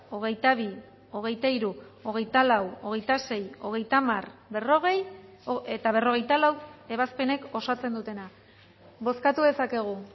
hogeita bi hogeita hiru hogeita lau hogeita sei hogeita hamar berrogei eta berrogeita lau ebazpenek osatzen dutena bozkatu dezakegu